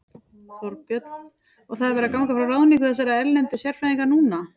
Þorbjörn: Og það er verið að ganga frá ráðningu þessara erlendu sérfræðinga núna?